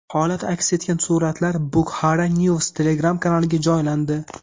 Holat aks etgan suratlar Bukhara news Telegram-kanaliga joylandi.